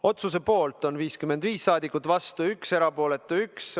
Otsuse poolt on 55 rahvasaadikut, vastu 1, erapooletu 1.